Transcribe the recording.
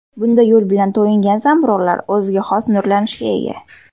Bunday yo‘l bilan to‘yingan zamburug‘lar o‘ziga xos nurlanishga ega.